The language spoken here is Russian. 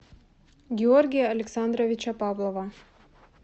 георгия александровича павлова